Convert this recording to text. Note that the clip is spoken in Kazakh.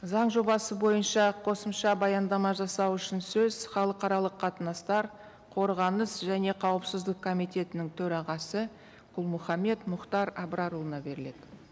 заң жобасы бойынша қосымша баяндама жасау үшін сөз халықаралық қатынастар қорғаныс және қауіпсіздік комитетінің төрағасы құл мұхаммед мұхтар абрарұлына беріледі